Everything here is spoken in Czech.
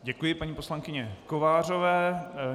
Děkuji paní poslankyni Kovářové.